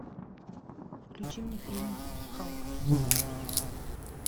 включи мне фильм халк